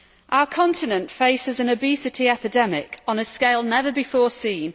Our continent faces an obesity epidemic on a scale never before seen.